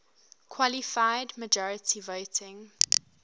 qualified majority voting